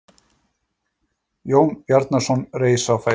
Jón Bjarnason reis á fætur.